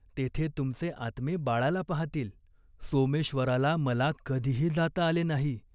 तेथे तुमचे आत्मे बाळाला पाहातील." "सोमेश्वराला मला कधीही जाता आले नाही.